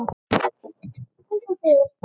En gott og vel.